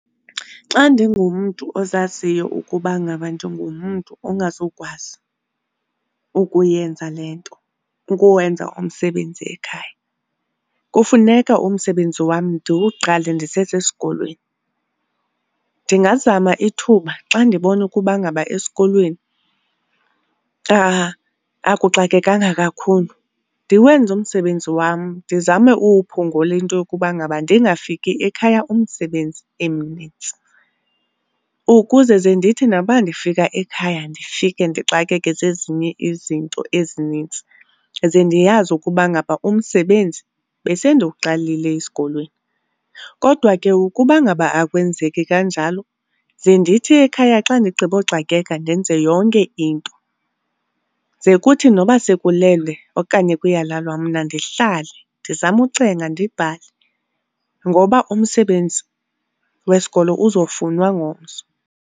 Xa ndingumntu ozaziyo ukuba ngaba ndingumntu ongazukwazi ukuyenza le nto, ukuwenza umsebenzi ekhaya, kufuneka umsebenzi wam ndiwuqale ndisesesikolweni. Ndingazama ithuba xa ndibona ukuba ngaba esikolweni akuxakekanga kakhulu ndiwenze umsebenzi wam, ndizame uwuphungula into yokuba ngaba ndingafiki ekhaya umsebenzi emnintsi. Ukuze ze ndithi noba ndifika ekhaya ndifike ndixakeke zezinye izinto ezinintsi ze ndiyazi ukuba ngaba umsebenzi besendiwuqalile esikolweni. Kodwa ke ukuba ngaba akwenzeki kanjalo, ze ndithi ekhaya xa ndigqiboxakeka ndenze yonke into, ze kuthi noba sekulelwe okanye kuyalalwa mna ndihlale ndizame ucenga ndibhale ngoba umsebenzi wesikolo uzofunwa ngomso.